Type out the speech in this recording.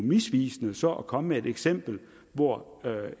misvisende så at komme med et eksempel hvor